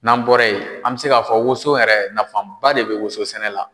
N'an bɔra yen, an bi se k'a fɔ woson yɛrɛ, nafaba de bɛ woson sɛnɛ la.